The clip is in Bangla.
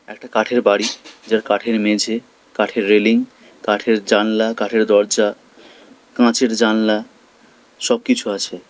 একটা কাঠের বাড়ি যার কাঠের মেঝে কাঠের রেলিং কাঠের জানলা কাঠের দরজা কাঁচের জানলা সবকিছু আছে।